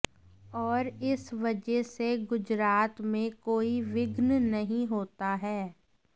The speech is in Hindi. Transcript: और इस वजह से गुजरात में कोई विघ्न नहीं होता है